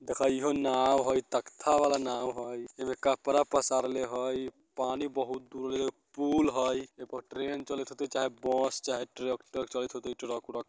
देखा ई हो नाव हई तख़्ता वाला नाव हई इमें कपड़ा पसारले हई पानी बहुत दूरे पूल हई ई पर ट्रैन चलित होतइ चाहे बस चाहे ट्रैक्टर चलित होतइ ट्रक उरक।